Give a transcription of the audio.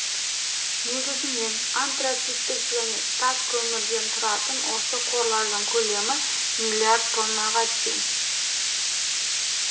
негізінен антрациттік және тас көмірден тұратын осы қорлардың көлемі миллиард тоннаға тең